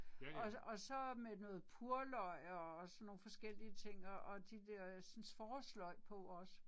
Og og så med noget purløg og sådan nogle forskellige ting og og de dersens forårsløg på også